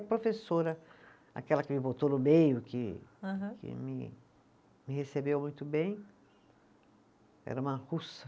Professora, aquela que me botou no meio que. Aham. Que me me recebeu muito bem, era uma russa.